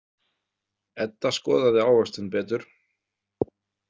Edda skoðaði ávöxtinn betur.